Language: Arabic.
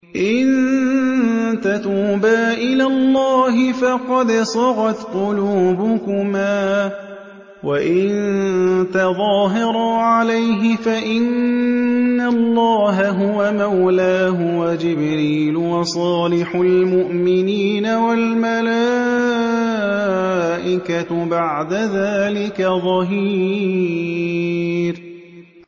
إِن تَتُوبَا إِلَى اللَّهِ فَقَدْ صَغَتْ قُلُوبُكُمَا ۖ وَإِن تَظَاهَرَا عَلَيْهِ فَإِنَّ اللَّهَ هُوَ مَوْلَاهُ وَجِبْرِيلُ وَصَالِحُ الْمُؤْمِنِينَ ۖ وَالْمَلَائِكَةُ بَعْدَ ذَٰلِكَ ظَهِيرٌ